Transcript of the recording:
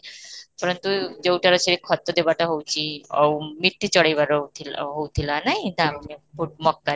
ପରନ୍ତୁ ଯଉଟାରେ ସେ ଖତ ଦେବାଟା ହଉଛି ଆଉ ଚଢେଇ ଘର ହଉଥିଲା ହଉଥିଲା ନାଇ ମକା